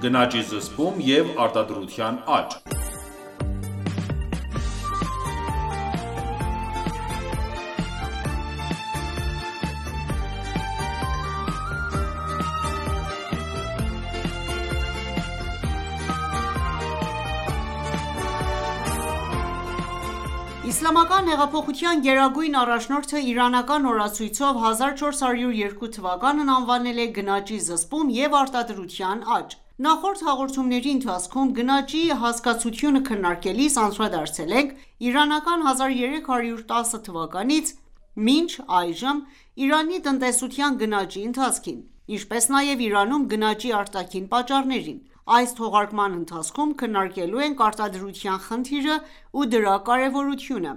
Գնաճի զսպում և արտադրության աճ(16) Իսլամական հեղափոխության գերագույն առաջնորդը իրանական օրացույցով 1402 թվականն անվանել է «Գնաճի զսպում և արտադրության աճ»: Նախորդ հաղորդումների ընթացքում գնաճի հասկացությունը քննարկելիս անդրադարձել ենք իրանական 1310 թվականից մինչ այժմ Իրանի տնտեսության գնաճի ընթացքին, ինչպես նաև Իրանում գնաճի արտաքին պատճառներին։ Այս թողարկման ընթացքում քննարկելու ենք արտադրության խնդիրը ու դրա կարևորությունը,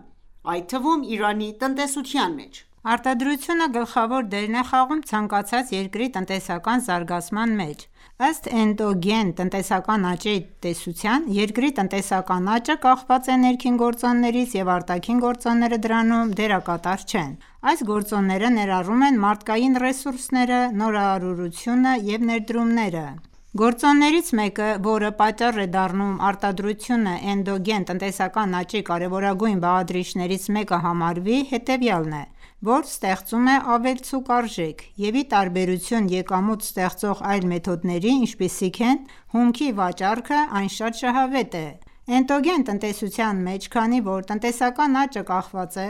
այդ թվում՝ Իրանի տնտեսության մեջ։ Արտադրությունը գլխավոր դերն է խաղում ցանկացած երկրի տնտեսական զարգացման մեջ։ Ըստ էնդոգեն տնտեսական աճի տեսության՝ երկրի տնտեսական աճը կախված է ներքին գործոններից, և արտաքին գործոնները դրանում դերակատար չեն ։Այս գործոնները ներառում են մարդկային ռեսուրսները, նորարարությունը և ներդրումները: Գործոններից մեկը ,որը պատճառ է դառնում արտադրությունը, էնդոգեն տնտեսական աճի կարևորագույն բաղադրիչներից մեկը համարվի հետևյալն է, որ ստեղծում է ավելցուկ արժեք, և ի տարբերություն եկամուտ ստեղծող այլ մեթոդների, ինչպիսին է՝ հումքի վաճառքը, այն շատ շահավետ է: Էնդոգեն տնտեսության մեջ, քանի որ տնտեսական աճը կախված է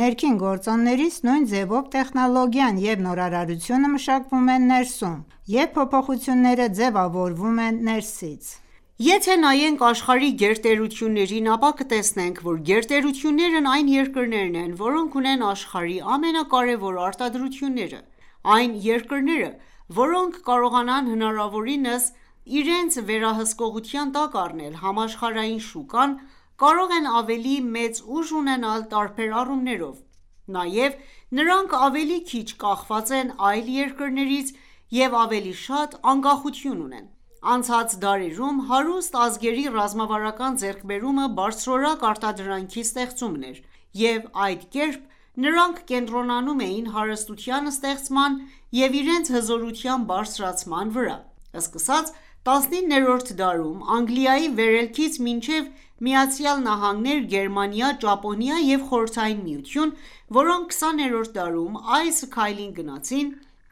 ներքին գործոններից, նույն ձևով տեխնոլոգիան և նորարարությունը մշակվում են ներսում և փոփոխությունները ձևավորվում են ներսից։ Եթե նայենք աշխարհի գերտերություններին, ապա կտեսնենք, որ գերտերություններն այն երկրներն են, որոնք ունեն աշխարհի ամենակարեւոր արտադրությունները։ Այն երկրները, որոնք կարողանան հնարավորինս իրենց վերահսկողության տակ առնել համաշխարհային շուկան, կարող են ավելի մեծ ուժ ունենալ տարբեր առումներով ,նաև նրանք ավելի քիչ կախված են այլ երկրներից և ավելի շատ անկախություն ունեն։ Անցած դարերում հարուստ ազգերի ռազմավարական ձեռքբերումը բարձրորակ արտադրանքի ստեղծումն էր, և այդ կերպ նրանք կենտրոնանում էին հարստության ստեղծման և իրենց հզորության բարձրացման վրա։ Սկսած 19-րդ դարում Անգլիայի վերելքից մինչև ԱՄՆ, Գերմանիա, Ճապոնիա և Խորհրդային Միություն ,որոնք 20-րդ դարում այս քայլին գնացին,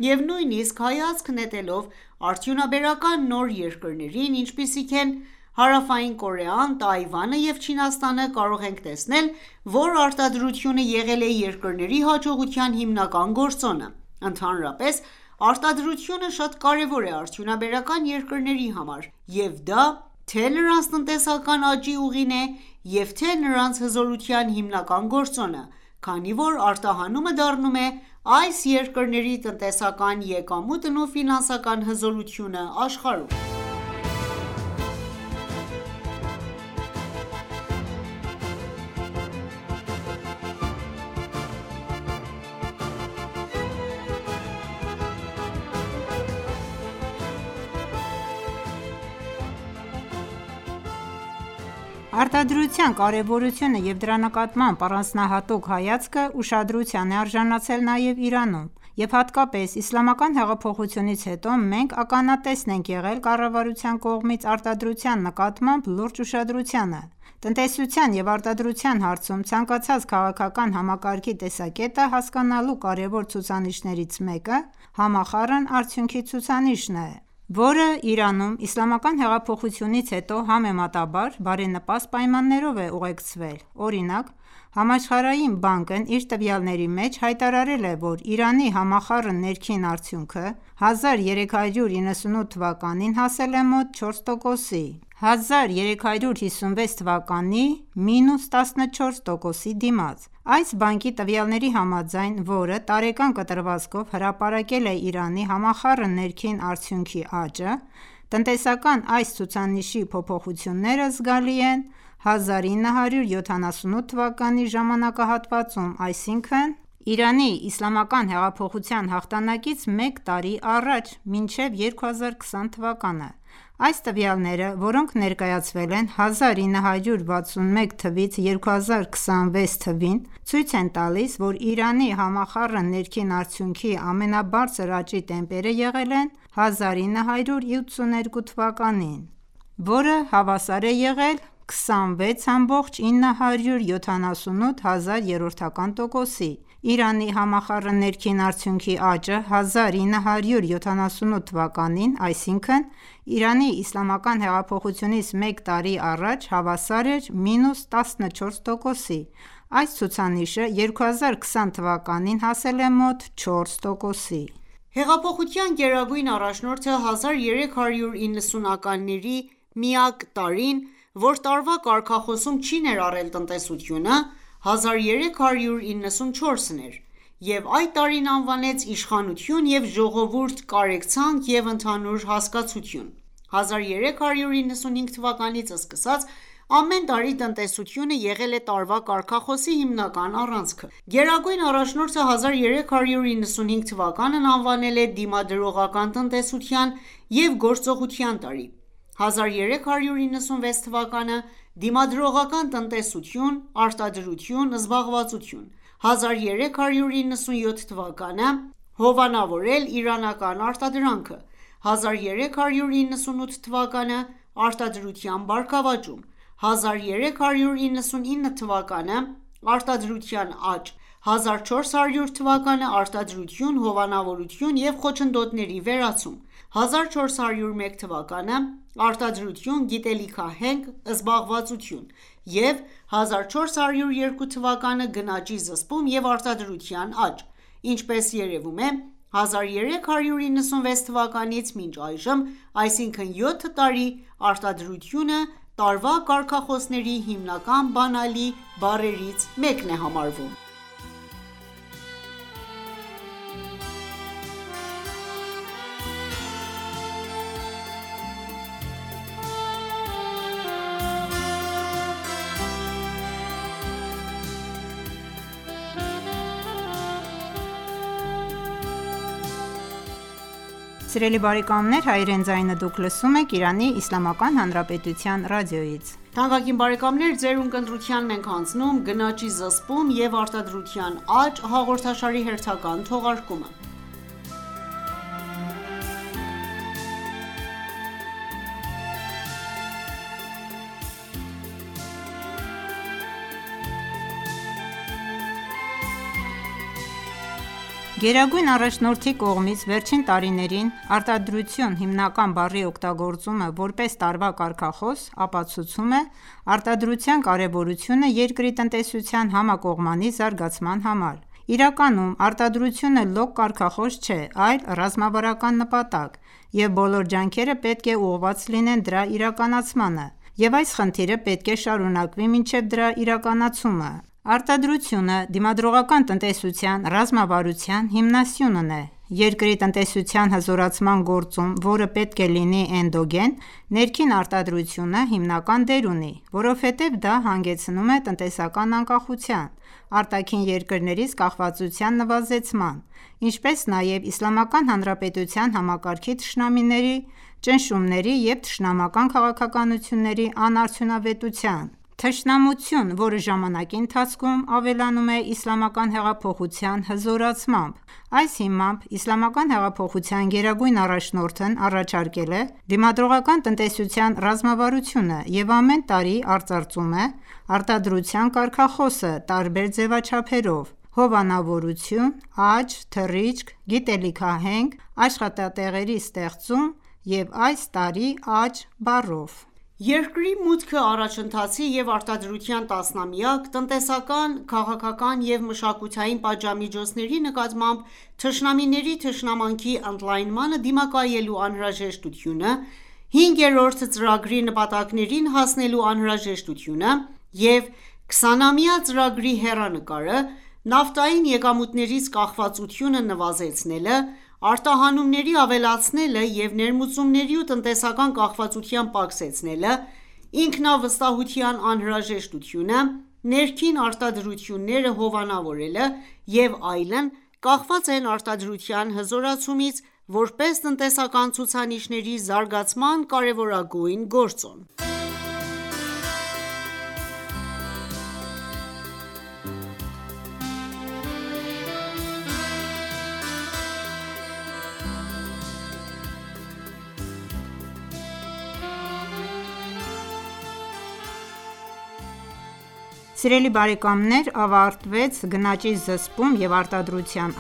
և նույնիսկ հայացք նետելով արդյունաբերական նոր երկրներին, ինչպիսիք են՝ Հարավային Կորեան, Թայվանը և Չինաստանը, կարող ենք տեսնել, որ արտադրությունը եղել է երկրների հաջողության հիմնական գործոնը: Ընդհանրապես, արտադրությունը շատ կարևոր է արդյունաբերական երկրների համար և դա թե՝նրանց տնտեսական աճի ուղին է, և թե՝նրանց հզորության հիմնական գործոնը, քանի որ արտահանումը դառնում է այս երկրների տնտեսական եկամուտն ու ֆինանսական հզորությունը աշխարհում։ Արտադրության կարևորությունը և դրա նկատմամբ առանձնահատուկ հայացքը, ուշադրության է արժանացել նաև Իրանում, և հատկապես իսլամական հեղափոխությունից հետո մենք ականատես ենք եղել կառավարության կողմից արտադրության նկատմամբ լուրջ ուշադրությանը։ Տնտեսության և արտադրության հարցում ցանկացած քաղաքական համակարգի տեսակետը հասկանալու կարևոր ցուցիչներից մեկը, համախառն արդյունքի ցուցանիշն է, որը Իրանում ,Իսլամական հեղափոխությունից հետո ,համեմատաբար բարենպաստ պայմաններով է ուղեկցվել։ Օրինակ՝ Համաշխարհային բանկն իր տվյալների մեջ հայտարարել է, որ Իրանի համախառն ներքին արդյունքը 1398 թվականին հասել է մոտ 4%-ի՝ 1356 թվականի մինուս 14%-ի դիմաց։ Այս բանկի տվյալների համաձայն, որը տարեկան կտրվածքով հրապարակել է Իրանի համախառն ներքին արդյունքի (ՀՆԱ) աճը, տնտեսական այս ցուցանիշի փոփոխությունները զգալի են 1978(1356) թվականի ժամանակահատվածում, այսինքն՝ Իրանի իսլամական հեղափոխության հաղթանակից մեկ տարի առաջ՝ մինչև 2020 թվականը (1398 թ.)։ Այս տվյալները, որոնք ներկայացվել են 1961-ից 2020 թվականներին (1339-ից 2018 թվականներին), ցույց են տալիս, որ Իրանի ՀՆԱ-ի ամենաբարձր աճի տեմպերը եղել են 1982 թվականին (1360), որը հավասար է եղել 26.978 տոկոսի։ Իրանի համախառն ներքին արդյունքի աճը 1978 թվականին (1356 թ.)այսինքն՝ Իրանի իսլամական հեղափոխությունից մեկ տարի առաջ, հավասար էր մինուս 14%-ի: Այս ցուցանիշը 2020 թվականին (1398) հասել է մոտ 4 տոկոսի։ Հեղափոխության գերագույն առաջնորդը, 1390-ականների միակ տարին, որ տարվա կարգախոսում չի ներառել տնտեսությունը, 1394-ն էր, և այդ տարին անվանեց «իշխանություն և ժողովուրդ, կարեկցանք և ընդհանուր հասկացություն»։ 1395 թվականից սկսած ամեն տարի տնտեսությունը եղել է տարվա կարգախոսի հիմնական առանցքը: Գերագույն առաջնորդը 1395 թվականն անվանել է «Դիմադրողական տնտեսության, և գործողության տարի», 1396 թվականը «Դիմադրողական տնտեսություն.արտադրություն –զբաղվածություն»,1397թվականը.«Հովանավորել իրանական արտադրանքը»: 1398 թվականը.«Արտադրության բարգավաճում»,1399 թվականը .«Արտադրության աճ»,1400 թվականը .«Արտադրություն, հովանավորություն և խոչընդոտների վերացում»,1401 թվականը.«Արտադրություն, գիտելիքահենք, զբաղվածություն»,և 1402 թվականը.«Գնաճի զսպում և արտադրության աճ»: Ինչպես երևում է,1396 թվականից մինչ այժմ, այսինքն՝ 7 տարի, արտադրությունը տարվա կարգախոսների հիմնական բանալի բառերից մեկն է համարվում։ Գերագույն առաջնորդի կողմից վերջին տարիներին «Արտադրություն» հիմնական բառի օգտագործումը, որպես տարվա կարգախոս, ապացուցում է արտադրության կարևորությունը երկրի տնտեսության համակողմանի զարգացման համար: Իրականում արտադրությունը լոկ կարգախոս չէ, այլ ռազմավարական նպատակ, և բոլոր ջանքերը պետք է ուղղված լինեն դրա իրականացմանը, և այս խնդիրը պետք է շարունակվի մինչև դրա իրականացումը։ Արտադրությունը Դիմադրողական տնտեսության ռազմավարության հիմնասյունն է։ Երկրի տնտեսության հզորացման գործում ,որը պետք է լինի էնդոգեն, ներքին արտադրությունը հիմնական դեր ունի, որովհետև դա հանգեցնում է տնտեսական անկախության, արտաքին երկրներից կախվածության նվազեցման, ինչպես նաև Իսլամական Հանրապետության համակարգի թշնամիների ճնշումների և թշնամական քաղաքականությունների անարդյունավետության, թշնամություն, որը ժամանակի ընթացքում ավելանում է Իսլամական հեղափոխության հզորացմամբ: Այս հիմամբ Իսլամական հեղափոխության գերագույն առաջնորդն առաջարկել է Դիմադրողական տնտեսության ռազմավարությունը և ամեն տարի արծարծում է արտադրության կարգախոսը տարբեր ձևաչափերով՝ հովանավորություն, աճ, թռիչք, գիտելիքահենք, աշխատատեղերի ստեղծում և այս տարի՝աճ բառով: Երկրի մուտքը առաջընթացի և արդարության տասնամյակ, տնտեսական, քաղաքական և մշակութային պատժամիջոցների նկատմամբ թշնամիների թշնամանքի ընդլայնմանը դիմակայելու անհրաժեշտությունը, հինգերորդ ծրագրի նպատակներին հասնելու անհրաժեշտությունը և 20-ամյա ծրագրի հեռանկարը, նավթային եկամուտներից կախվածությունը նվազեցնելը, արտահանումների ավելացնելը և ներմուծումների ու տնտեսական կախվածության պակսեցնելը, ինքնավստահության անհրաժեշտությունը, ներքին արտադրությունները հովանավորելը և այլն ,կախված են արտադրության հզորացումից՝ որպես տնտեսական ցուցանիշների զարգացման կարևորագույն գործոն։ Սիրելի բարեկամներ ավարտեց «Գնաճի զսպում և արտադրության